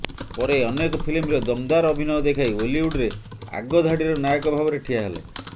ପରେ ଅନେକ ଫିଲ୍ମରେ ଦମଦାର ଅଭିନୟ ଦେଖାଇ ଓଲିଉଡ୍ରେ ଆଗଧାଡ଼ିର ନାୟକ ଭାବରେ ଠିଆ ହେଲେ